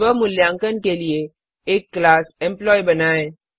स्व मूल्यांकन के लिए एक क्लास एम्प्लॉयी बनाएँ